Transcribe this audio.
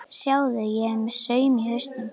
Sjáðu, ég er með saum í hausnum.